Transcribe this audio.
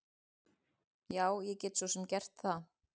Já, ég get svo sem gert það.